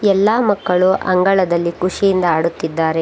ಎಲ್ಲಾ ಮಕ್ಕಳು ಅಂಗಳದಲ್ಲಿ ಖುಷಿಯಿಂದ ಆಡುತ್ತಿದ್ದಾರೆ.